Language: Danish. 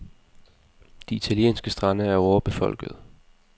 De italienske strande er overbefolkede.